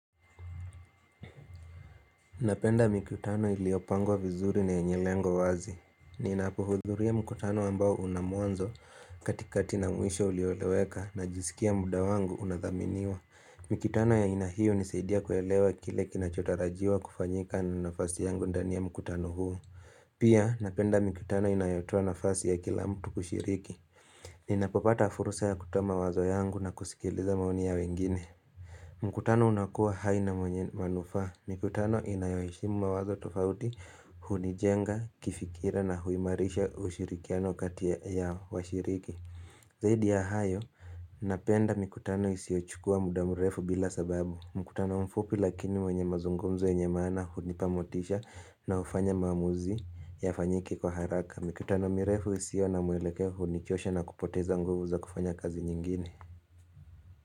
Napenda mikutano iliopangwa vizuri na yenye lengo wazi. Ninapohudhuria mikutano ambao unamuanzo katikati na mwisho ulioleweka na jisikia muda wangu unadhaminiwa. Mikutano ya ainahiyo nisaidia kuelewa kile kinachotarajiwa kufanyika na nafasi yangu ndani ya mkutano huu. Pia napenda mikutano inayotua nafasi ya kila mtu kushiriki. Ninapopata furusa ya kutoa mawazo yangu na kusikiliza maoni ya wengine. Mkutano unakuwa haina manufaa. Mkutano inayoheshimu mawazo tofauti hunijenga kifikira na huimarisha ushirikiano kati ya washiriki. Zaidi ya hayo, napenda mkutano isiochukua mudamurefu bila sababu. Mkutano mfupi lakini mwenye mazungumzo yenye m ana hunipamotisha na ufanya mamuzi ya fanyiki kwa haraka. Mkutano mirefu isio na mueleke hunichosha na kupoteza nguvu za kufanya kazi nyingine.